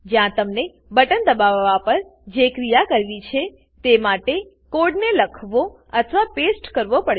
જ્યાં તમને બટન દબાવવા પર જે ક્રિયા કરવી છે તે માટે કોડને લખવો અથવા પેસ્ટ કરવો પડશે